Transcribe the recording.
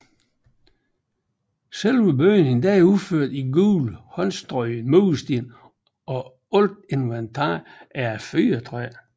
Selve bygningen er udført i gule håndstrøgne mursten og alt inventaret er af fyrretræ